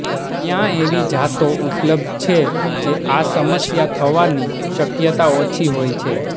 ત્યાં એવી જાતો ઉપલબ્ધ છે જે આ સમસ્યા થવાની શક્યતા ઓછી હોય છે